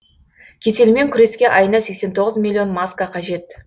кеселмен күреске айына сексен тоғыз миллион маска қажет